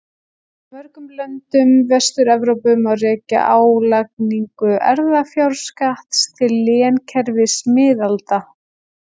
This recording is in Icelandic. Í mörgum löndum Vestur-Evrópu má rekja álagningu erfðafjárskatts til lénskerfis miðalda.